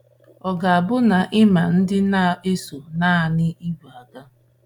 Ọ ga-abụ na ị ma ndị na-eso naanị ìgwè aga.